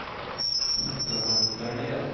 ત્રણ ત્રણેય year માં